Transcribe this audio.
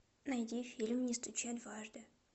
найди фильм не стучи дважды